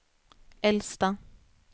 äldsta